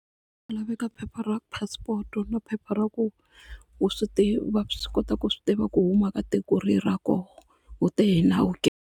Ku laveka phepha ra passport na phepha ra ku u swi va swi kota ku swi tiva ku huma ka tiko rihi ra koho u te hi nawu ke.